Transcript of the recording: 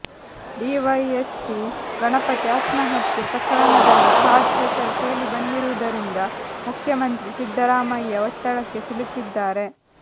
DYSP Ganapathi ಆತ್ಮಹತ್ಯೆ ಪ್ರಕರಣದಲ್ಲಿ George ಹೆಸರು ಕೇಳಿಬಂದಿರುವುದರಿಂದ ಮುಖ್ಯಮಂತ್ರಿ ಸಿದ್ದರಾಮಯ್ಯ ಒತ್ತಡಕ್ಕೆ ಸಿಲುಕಿದ್ದಾರೆ